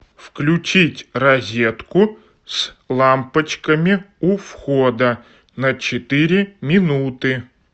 включить розетку с лампочками у входа на четыре минуты